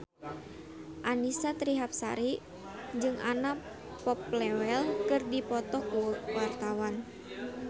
Annisa Trihapsari jeung Anna Popplewell keur dipoto ku wartawan